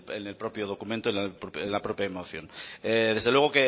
en el propio documento en la propio moción desde luego